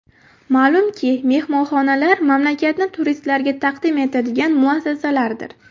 Ma’lumki, mehmonxonalar mamlakatni turistlarga taqdim etadigan muassasalardir.